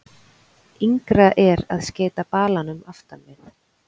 Yngra er að skeyta balanum aftan við.